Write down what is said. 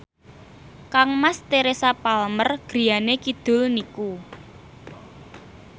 kangmas Teresa Palmer griyane kidul niku